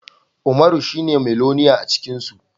Umaro shine miloniya acikinsu